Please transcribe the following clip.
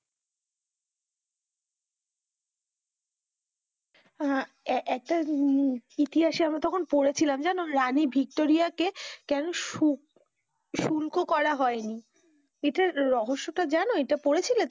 আহ একটা হম চিঠি আসে আমি তখন পড়েছিলাম জানো রানী ভিক্টোরিয়া কে কেনো সু~ সুল্ক করা হয় নি, এটার রহস্য টা জানো, এটা পড়েছিলে,